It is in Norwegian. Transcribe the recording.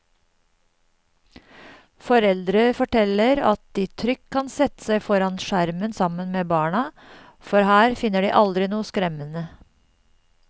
Foreldre forteller at de trygt kan sette seg foran skjermen sammen med barna, for her finner de aldri noe skremmende.